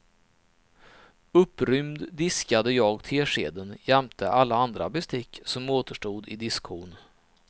Upprymd diskade jag teskeden jämte alla andra bestick som återstod i diskhon.